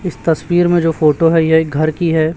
इस तस्वीर में जो फोटो है ये एक घर की है।